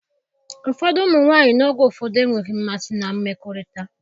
Ụfọdụ ụmụ nwanyị n'oge ụfọdụ enweghị mmasị na mmekọrịta